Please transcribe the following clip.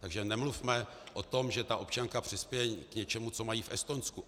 Takže nemluvme o tom, že ta občanka přispěje k něčemu, co mají v Estonsku.